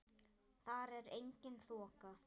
Þar er engin þoka.